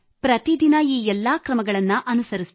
ಪ್ರತಿದಿನ ಈ ಎಲ್ಲ ಕ್ರಮಗಳನ್ನು ಅನುಸರಿಸಿದೆ